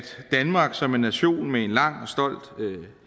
danmark som en nation med en lang og stolt